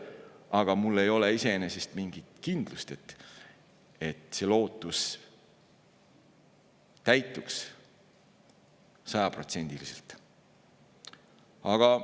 Aga mul ei ole iseenesest mingit kindlust, et see lootus sajaprotsendiliselt täituks.